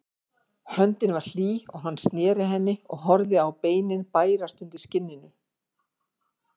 Höndin var hlý og hann sneri henni og horfði á beinin bærast undir skinninu.